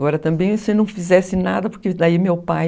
Agora, também, se não fizesse nada, porque daí meu pai...